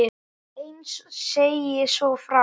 Heinz segir svo frá: